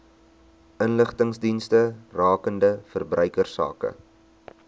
inligtingsdienste rakende verbruikersake